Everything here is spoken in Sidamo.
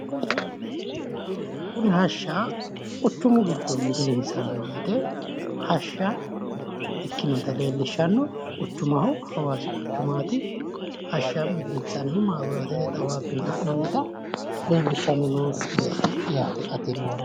Kunni hashsha quchumu giddo milinsanni woyite hashsha ikinotta leelishano quchumu hawaasi quchumaati hashsha milinsanni mabiraatete xawaabi ha'nannita leelinshanni noo misileeti yaate.